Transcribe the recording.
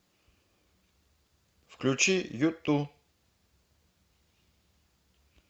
включи юту